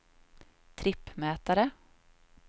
trippmätare